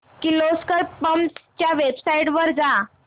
Kirloskar pumps च्या website वर जा